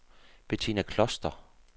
Betina Kloster